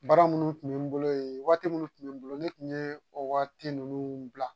Baara minnu tun bɛ n bolo yen waati minnu tun bɛ n bolo ne tun ye o waati ninnu bila